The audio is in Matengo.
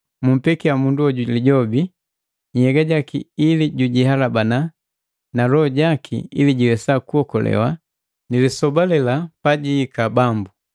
mumpekia mundu hoju Lijobi nhyega jaki ili jujihalabana na loho jaki ili jiwesa kuokolewa na lisoba lela pajihika Bambu.